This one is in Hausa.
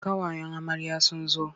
Ƙawayen amarya sun zo.